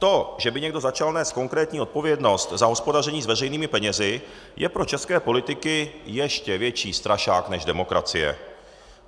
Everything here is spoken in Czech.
To, že by někdo začal nést konkrétní odpovědnost za hospodaření s veřejnými penězi, je pro české politiky ještě větší strašák než demokracie.